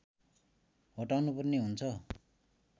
हटाउनुपर्ने हुन्छ